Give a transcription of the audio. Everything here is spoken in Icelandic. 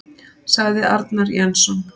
Sagði Arnar Jensson.